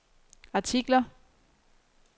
artikler